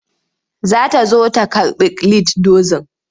Za ta zo ta karɓi lead dozin.